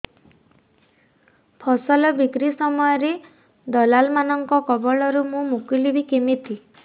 ଫସଲ ବିକ୍ରୀ ସମୟରେ ଦଲାଲ୍ ମାନଙ୍କ କବଳରୁ ମୁଁ ମୁକୁଳିଵି କେମିତି